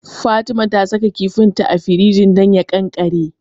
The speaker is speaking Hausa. Fatima ta saka kifinta a firinji don ya ƙanƙare.